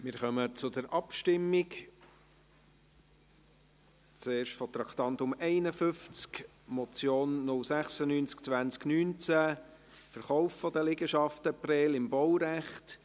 Wir kommen zur Abstimmung, zuerst betreffend das Traktandum 51, Motion 096-2019, «Verkauf der Liegenschaften [in] Prêles im Baurecht».